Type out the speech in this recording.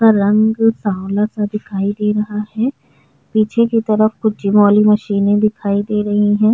उसका रंग सांवला सा दिखाई दे रहा है पीछे की तरफ कुछ वो वाली मशीने दिखाई दे रही है।